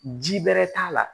Ji bɛrɛ t'a la